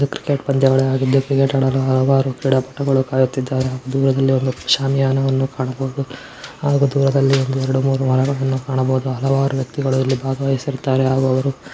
ಇದು ಕ್ರಿಕೆಟ್ ಪಂದ್ಯಗಳು ಹಾಗಿದ್ದು ಕ್ರಿಕೆಟ್ ಹಾಡಲು ಹಲವಾರು ಕ್ರೀಡಾ ಪಟಗಳು ಕಾಯುತಿದ್ದಾರೆ ದೂರದಲ್ಲಿ ಒಂದು ಶಾಮಿಯನವನ್ನು ಕಾಣಬಹುದು ಹಾಗು ದೂರದಲ್ಲಿ ಒಂದು ಏರಡು ಮೂರು ಮರಗಳನ್ನು ಕಾಣಬಹುದು ಹಲವಾರು ವ್ಯಕ್ತಿಗಳು ಇಲ್ಲಿ ಭಾಗವಹಿಸುತ್ತಾರೆ ಹಾಗು ಅವರು--